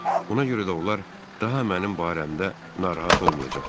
Ona görə də onlar daha mənim barəmdə narahat olmayacaqlar.